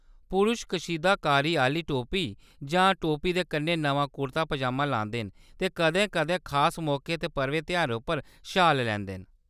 पुरश कशीदाकारी आह्‌ली टोपी जां टोपी दे कन्नै नमां कुर्ता-पजामा लांदे न, ते कदें-कदें खास मौकें ते पर्वें तेहारें उप्पर शाल लैंदे न।